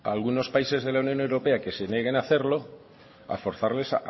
algunos países de la unión europea que se nieguen a hacerlo a forzarles